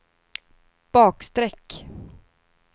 bakstreck